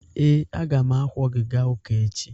Ee, a ga m akwọ gị gaa ụka echi.